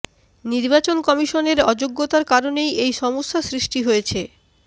নির্বাচন কমিশনের অযোগ্যতার কারণেই এই সমস্যা সৃষ্টি হয়েছে